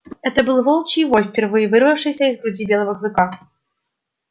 это выл волчий вой впервые вырвавшийся из груди белого клыка